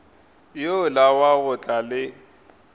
yola wa go tla le